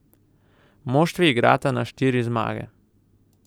Moštvi igrata na štiri zmage.